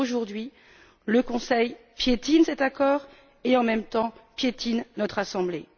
Or, aujourd'hui, le Conseil piétine cet accord et, en même temps, piétine notre Assemblée.